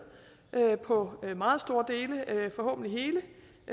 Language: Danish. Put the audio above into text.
på meget store dele